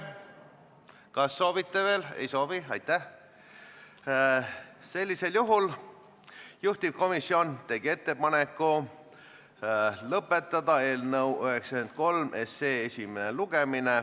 Algab Vabariigi Valitsuse algatatud väärtpaberituru seaduse ja teiste seaduste muutmise seaduse eelnõu 28 teine lugemine.